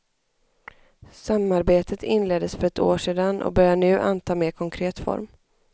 Samarbetet inleddes för ett år sedan och börjar nu anta mer konkret form.